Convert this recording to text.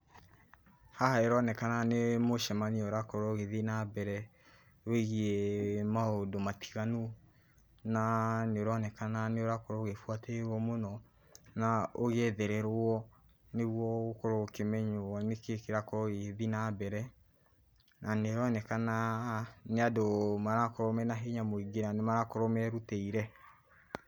Haha ĩronekana nĩ mũcemanio ũrakorũo ũgithiĩ nambere, wĩgiĩ maũndũ matiganu, naa nĩũronekana nĩũrakorũo ũgĩbuatĩrĩirũo mũno, na ũgĩethererũo, nĩguo ũkorũo ũkĩmenyũo nĩkĩĩ kĩrakorũo gĩgĩthiĩ nambere, na nĩĩronekana haha nĩ andũ marakorũo mena hinya mũingĩ na nĩmarakorũo merutĩire.